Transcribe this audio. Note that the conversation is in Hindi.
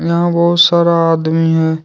यहाँ बहोत सारा आदमी है।